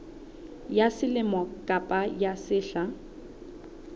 ya selemo kapa ya sehla